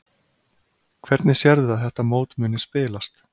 Hvernig sérðu að þetta mót muni spilast?